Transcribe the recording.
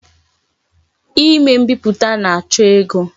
Ime mbiputa na-acho ego.